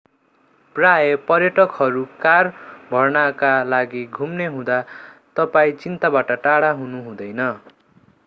प्रायः पर्यटकहरू कार भर्नका लागि घुम्ने हुँदा तपाईं चिन्ताबाट टाढा हुनु हुँदैन